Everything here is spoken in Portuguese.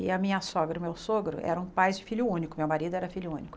E a minha sogra e o meu sogro eram pais de filho único, meu marido era filho único.